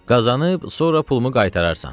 Qazanıb, sonra pulumu qaytararsan.